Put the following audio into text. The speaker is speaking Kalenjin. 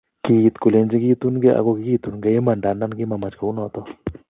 Kiit kolenjin kitun ge ago kigitun ge iman ndandan kimamach kou noton.